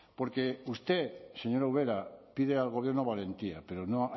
porque usted señora ubera pide al gobierno valentía pero